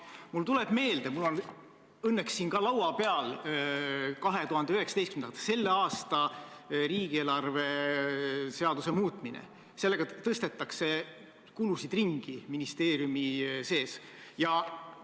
Mul tuleb meelde – mul on õnneks siin laua peal ka 2019. aasta, selle aasta riigieelarve seaduse muutmine –, et sellega tõstetakse kulusid ministeeriumi sees ringi.